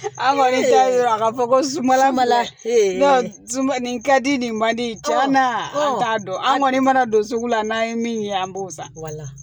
An kɔni y'a ye a ka fɔ ko zuna ma sunba nin ka di nin mandi caman t'a dɔn an kɔni mana don sugu la n'an ye min ye an b'o san